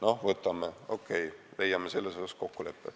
Okei, võtame, leiame selles osas kokkuleppe.